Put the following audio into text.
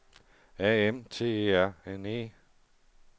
A M T E R N E